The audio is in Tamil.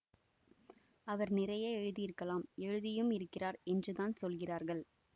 அவர் நிறைய எழுதியிருக்கலாம் எழுதியும் இருக்கிறார் என்று தான் சொல்கிறார்கள்